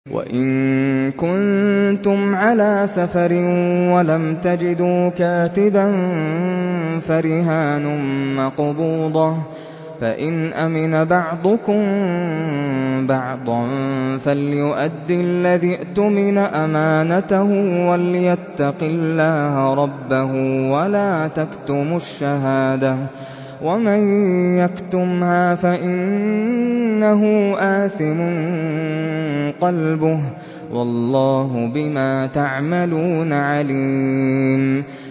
۞ وَإِن كُنتُمْ عَلَىٰ سَفَرٍ وَلَمْ تَجِدُوا كَاتِبًا فَرِهَانٌ مَّقْبُوضَةٌ ۖ فَإِنْ أَمِنَ بَعْضُكُم بَعْضًا فَلْيُؤَدِّ الَّذِي اؤْتُمِنَ أَمَانَتَهُ وَلْيَتَّقِ اللَّهَ رَبَّهُ ۗ وَلَا تَكْتُمُوا الشَّهَادَةَ ۚ وَمَن يَكْتُمْهَا فَإِنَّهُ آثِمٌ قَلْبُهُ ۗ وَاللَّهُ بِمَا تَعْمَلُونَ عَلِيمٌ